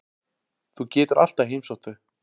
Þú getur alltaf heimsótt þau.